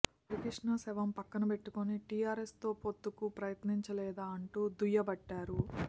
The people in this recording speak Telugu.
హరికృష్ణ శవం పక్కన బెట్టుకుని టీఆరెస్తో పొత్తుకు ప్రయత్నించలేదా అంటూ దుయ్యబట్టారు